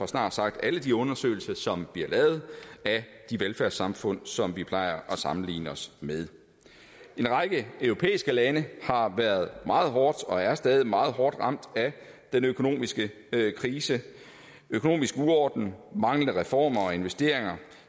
snart sagt alle de undersøgelser som bliver lavet af de velfærdssamfund som vi plejer at sammenligne os med en række europæiske lande har været meget hårdt og er stadig meget hårdt ramt af den økonomiske krise økonomisk uorden manglende reformer og investeringer